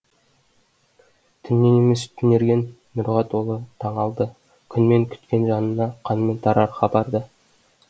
түннен емес түнерген нұрға толы таң алды күнмен күткен жанына қанмен тарар хабарды